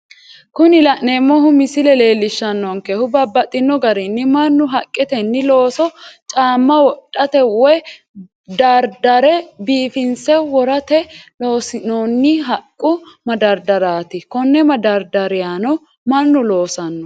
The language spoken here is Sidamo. Kuni la'neemohu misile leelishano'nkehu babaxino garinni manu haqqetenni looso caama wodhate woyi dardare biifinse worate loosinoonni haqu madardariyati, kone madaridariyano manu loosano